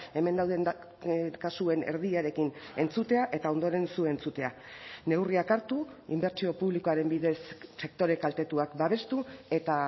hemen dauden kasuen erdiarekin entzutea eta ondoren zu entzutea neurriak hartu inbertsio publikoaren bidez sektore kaltetuak babestu eta